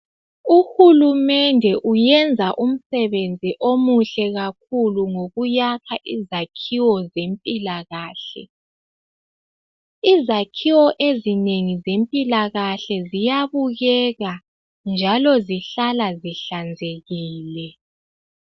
Uhulumende uyenza umsebenzi omuhle kakhulu ngokuyakha izakhiwo zempilakahle. Izakhiwo ezinengi zempilakahle ziyabukeka njalo zihlala zihlanzekile.